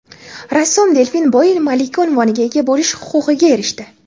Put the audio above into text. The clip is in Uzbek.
rassom Delfin Boel malika unvoniga ega bo‘lish huquqiga erishdi.